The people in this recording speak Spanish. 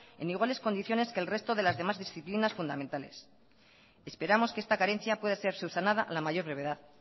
en iguales condiciones que el resto de las demás disciplinas fundamentales y esperamos que esta carencia pueda ser subsanada a la mayor brevedad